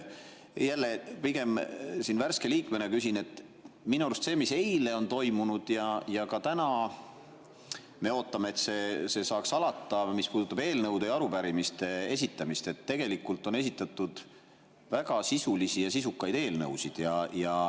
Jälle pigem värske liikmena küsin selle kohta, mis eile toimus – ja me ka täna ootame, et see saaks alata –, eelnõude ja arupärimiste esitamine, et minu arust on tegelikult esitatud väga sisulisi ja sisukaid eelnõusid.